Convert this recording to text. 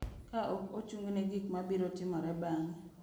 Ka ok ochung’ne gik ma biro timore bang’e.